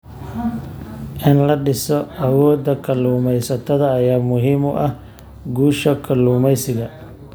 In la dhiso awoodda kalluumaysatada ayaa muhiim u ah guusha kalluumeysiga.